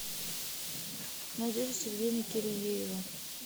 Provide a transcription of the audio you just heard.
надежда сергеевна кириеева